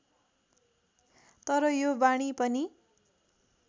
तर यो वाणी पनि